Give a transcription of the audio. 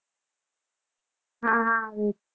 હા હા આવે છે